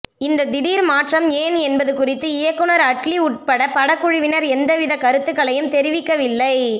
இந்த திடீர் மாற்றம் ஏன் என்பது குறித்து இயக்குனர் அட்லி உள்பட படக்குழுவினர் எந்தவித கருத்துக்களையும் தெரிவிக்கவில்லை